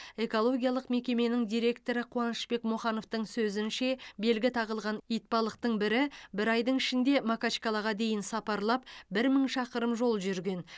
экологиялық мекеменің директоры қуанышбек мұхановтың сөзінше белгі тағылған итбалықтың бірі бір айдың ішінде макачкалаға дейін сапарлап бір мың шақырым жол жүрген